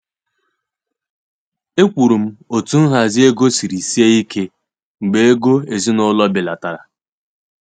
Ekwuru m otú nhazi ego siri sie ike mgbe ego ezinụlọ belatara.